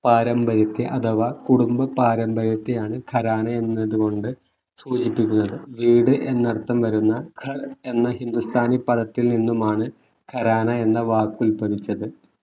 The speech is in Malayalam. പാരമ്പര്യത്തെ അഥവാ കുടുംബ പാരമ്പര്യത്തെയാണ് ഖരാന എന്നതുകൊണ്ട് സൂചിപ്പിക്കുന്നത് വീട് എന്നർത്ഥം വരുന്ന എന്ന ഹിന്ദുസ്ഥാനി പദത്തിൽ നിന്നുമാണ് ഖരാന എന്ന വാക്ക് ഉത്ഭവിച്ചത്